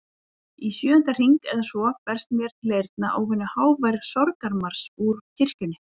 Í sjöunda hring eða svo berst mér til eyrna óvenju hávær sorgarmars úr kirkjunni.